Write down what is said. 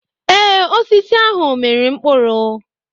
Ee, osisi ahụ mịrị mkpụrụ.